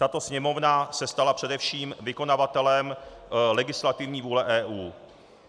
Tato Sněmovna se stala především vykonavatelem legislativní vůle EU.